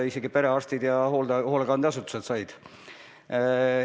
Isegi perearstid ja hoolekandeasutused said neid.